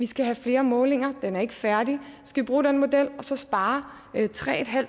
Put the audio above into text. skal have flere målinger at de er ikke færdige skal vi bruge den model og så spare tre